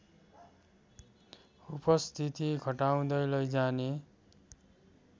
उपस्थिति घटाउँदै लैजाने